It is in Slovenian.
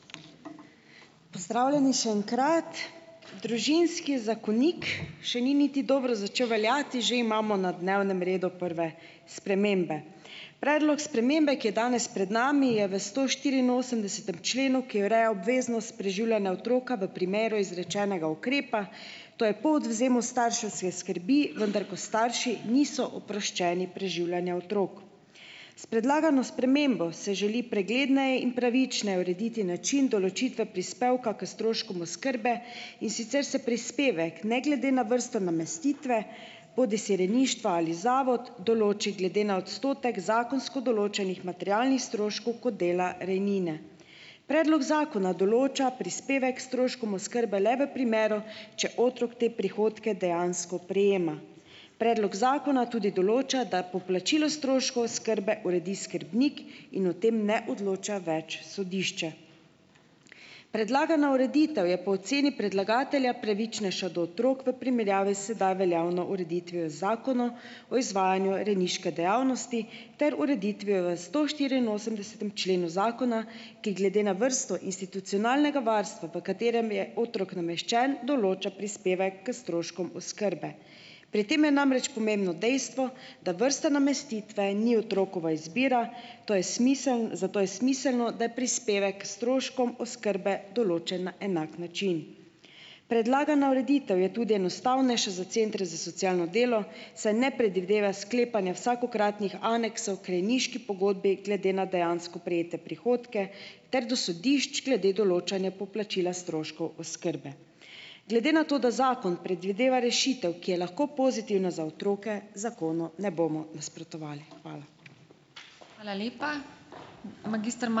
Pozdravljeni še enkrat! Družinski zakonik še ni niti dobro začel veljati, že imamo na dnevnem redu prve spremembe. Predlog spremembe, ki je danes pred nami je v stoštiriinosemdesetem členu, ki ureja obveznost preživljanja otroka v primeru izrečenega ukrepa, to je po odvzemu starševske skrbi, vendar ko starši niso oproščeni preživljanja otrok. S predlagano spremembo se želi pregledneje in pravičneje urediti način določitve prispevka k stroškom oskrbe, in sicer se prispevek ne glede na vrsto namestitve, bodisi rejništva ali zavod, določi glede na odstotek zakonsko določenih materialnih stroškov kot dela rejnine. Predlog zakona določa prispevek k stroškom oskrbe le v primeru, če otrok te prihodke dejansko prejema. Predlog zakona tudi določa, da poplačilo oskrbe uredi skrbnik in o tem ne odloča več sodišče. Predlagana ureditev je po oceni predlagatelja pravičnejša do otrok v primerjavi s sedaj veljavno ureditvijo z Zakonom o izvajanju rejniške dejavnosti ter ureditvijo v stoštiriinosemdesetem členu zakona, ki glede na vrsto institucionalnega varstva, v katerem je otrok nameščen, določa prispevek k stroškom oskrbe. Pri tem je namreč pomembno dejstvo, da vrsta namestitve ni otrokova izbira, to je smiselno, zato je smiselno, da je prispevek stroškom oskrbe določen na enak način. Predlagana ureditev je tudi enostavnejša za centru za socialno delo, saj ne predvideva sklepanja vsakokratnih aneksov k rejniški pogodbi glede na dejansko prejete prihodke ter do sodišč glede določanja poplačila stroškov oskrbe. Glede na to, da zakon predvideva rešitev, ki je lahko pozitivna za otroke, zakonu ne bomo nasprotovali. Hvala.